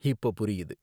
இப்ப புரியுது.